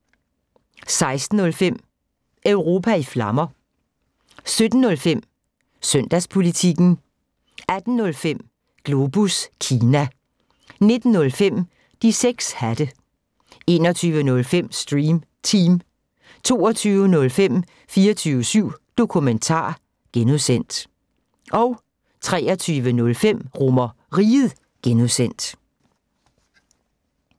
16:05: Europa i Flammer 17:05: Søndagspolitikken 18:05: Globus Kina 19:05: De 6 hatte 21:05: Stream Team 22:05: 24syv Dokumentar (G) 23:05: RomerRiget (G)